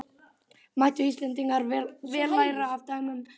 Mættu Íslendingar vel læra af dæmum erlendra þjóða.